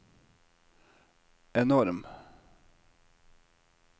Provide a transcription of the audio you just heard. enorm